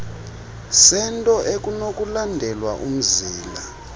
sento ekunokulandelwa umzila